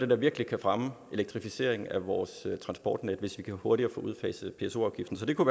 der virkelig kan fremme elektrificeringen af vores transportnet hvis vi hurtigere kan få udfaset pso afgiften så det kunne